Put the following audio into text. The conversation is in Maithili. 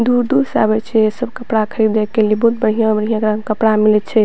दूर-दूर से आवे छै सब कपड़ा खरीदे के लिए बहुत बढ़िय-बढ़िया एकरा में कपड़ा मिले छै।